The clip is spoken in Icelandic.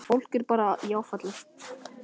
Fólk er bara í áfalli.